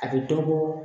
A bɛ dɔ bɔ